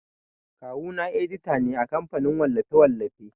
Kawu na edita ne a kamfanin wallafe-wallafe.